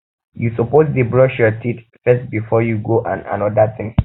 you suppose dey brush your teeth first before you go do anoda thing